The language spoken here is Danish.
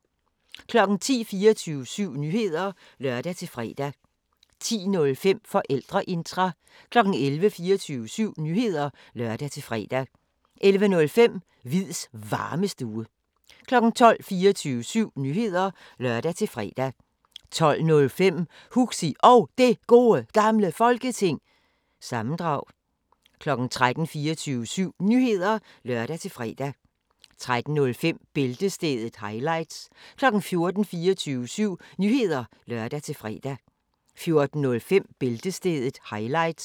10:00: 24syv Nyheder (lør-fre) 10:05: Forældreintra 11:00: 24syv Nyheder (lør-fre) 11:05: Hviids Varmestue 12:00: 24syv Nyheder (lør-fre) 12:05: Huxi Og Det Gode Gamle Folketing- sammendrag 13:00: 24syv Nyheder (lør-fre) 13:05: Bæltestedet – highlights 14:00: 24syv Nyheder (lør-fre) 14:05: Bæltestedet – highlights